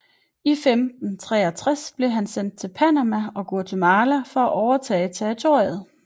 I 1563 blev han sendt til Panama og Guatemala for at overtage territoriet